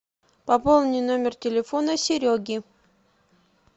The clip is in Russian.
пополни номер телефона сереги